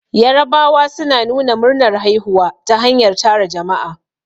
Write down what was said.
Yarabawa suna nuna murnar haihuwa ta hanyar tara jama'a